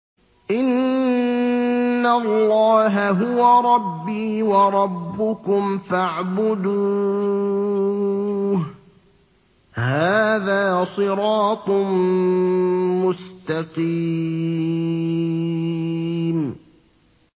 إِنَّ اللَّهَ هُوَ رَبِّي وَرَبُّكُمْ فَاعْبُدُوهُ ۚ هَٰذَا صِرَاطٌ مُّسْتَقِيمٌ